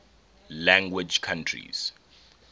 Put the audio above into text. language countries